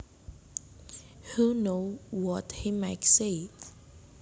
Who knew what he might say